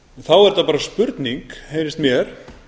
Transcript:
þá er þetta bara spurning heyrist mér